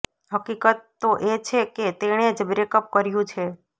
હકીકત તો એ છે કે તેણે જ બ્રેકઅપ કર્યું છે